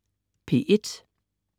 P1: